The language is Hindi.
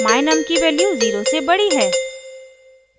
my_num की वैल्यू 0 से बड़ी है